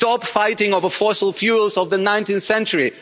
Stop fighting over fossil fuels of the 19th century!